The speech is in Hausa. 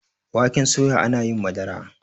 waken soya ana yin Madara